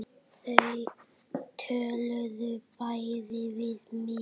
Þau töluðu bæði við mig.